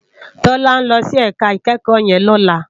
Tola n lòsí èká ikèékò yèn lòlá